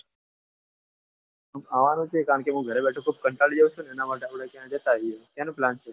આવાનું છે કારણ કે મુ ગરે બેઠો છું કંટાળી એ છીએ એના માટે આપણે ક્યાંક જતાઈએ ક્યાં નો plan છે?